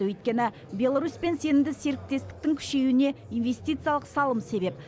өйткені беларусьпен сенімді серіктестіктің күшеюіне инвестициялық салым себеп